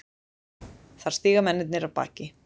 Þar stíga mennirnir af baki.